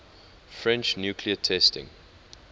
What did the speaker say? french nuclear testing